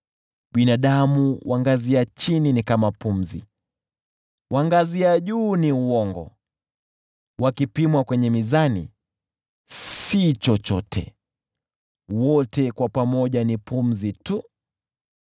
Binadamu wa ngazi ya chini ni pumzi tu, nao wa ngazi ya juu ni uongo tu; wakipimwa kwenye mizani, si chochote; wote kwa pamoja ni pumzi tu.